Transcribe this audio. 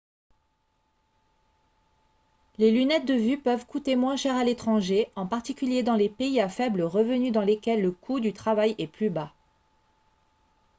les lunettes de vue peuvent coûter moins cher à l'étranger en particulier dans les pays à faible revenu dans lesquels le coût du travail est plus bas